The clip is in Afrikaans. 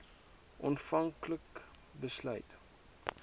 aanvank like besluit